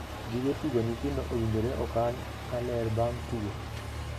Gige tuk nyithindo owinjore okan ka ler bang' tugo.